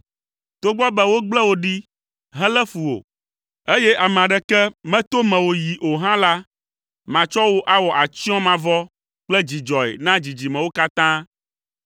“Togbɔ be wogble wò ɖi helé fu wò, eye ame aɖeke meto mewò yi o hã la, matsɔ wò awɔ atsyɔ̃ mavɔ kple dzidzɔe na dzidzimewo katã.